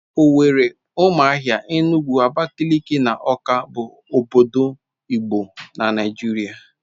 Owerri, Ụmụahia, Enugu, Abakaliki na Awka bụ obodo igbo na Naịjirịa